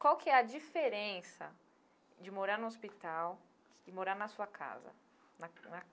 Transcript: Qual que é a diferença de morar no hospital e morar na sua casa? Na na.